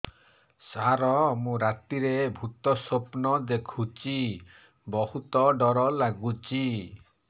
ସାର ମୁ ରାତିରେ ଭୁତ ସ୍ୱପ୍ନ ଦେଖୁଚି ବହୁତ ଡର ଲାଗୁଚି